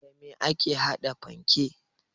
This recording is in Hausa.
Da me ake haɗa panke?